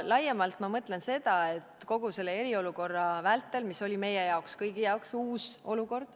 Selle all mõtlen ma seda, et kogu selle eriolukorra vältel, mis oli meie kõigi jaoks uus olukord,